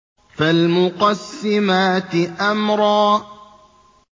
فَالْمُقَسِّمَاتِ أَمْرًا